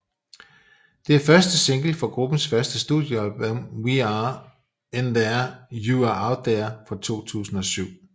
Det er første single fra gruppens første studiealbum We Are In There You Are Out Here fra 2007